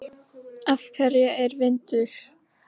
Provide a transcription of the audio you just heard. Af hverju er vindur?